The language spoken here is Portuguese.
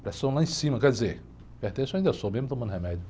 Pressão lá em cima, quer dizer, hipertenso ainda sou, mesmo tomando remédio.